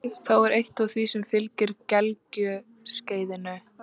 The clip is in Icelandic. Það er eitt af því sem fylgir gelgjuskeiðinu.